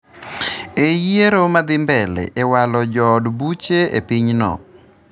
e yiero madhi mbedle e walo jood buche e pinyno